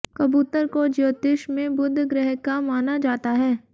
कबूतर को ज्योतिश में बुध ग्रह का माना जाता है